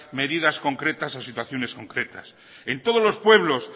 medidas concretas o situaciones concretas en todos los pueblos